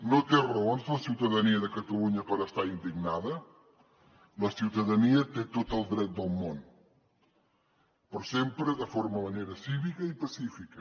no té raons la ciutadania de catalunya per estar indignada la ciutadania hi té tot el dret del món però sempre de forma i manera cívica i pacífica